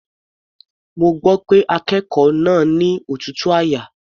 Mo gbọ́ pé akékòó náà ni òtútù àyà.